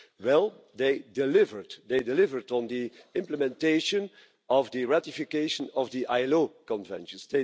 Well, they delivered on the implementation of the ratification of the ILO Convention.